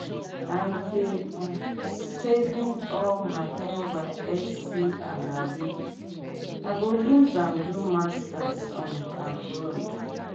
i dey um saving all my nysc alawee i go use am do masters um abroad.